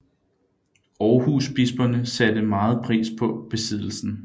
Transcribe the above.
Aarhusbisperne satte megen pris på besiddelsen